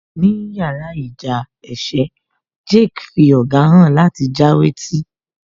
Ní yàrá ìjà ẹkẹ, Jake fí ọ̀gá hàn láti já wé tí